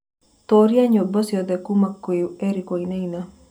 tuuria nyĩmbo cĩothe kũũma kwi Eric wainaina